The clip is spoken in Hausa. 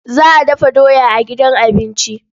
Za a dafa doya a gidan abinci.